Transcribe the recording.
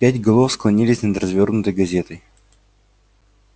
пять голов склонились над развёрнутой газетой